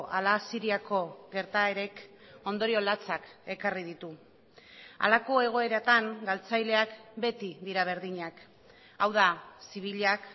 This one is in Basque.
ala siriako gertaerek ondorio latsak ekarri ditu halako egoeratan galtzaileak beti dira berdinak hau da zibilak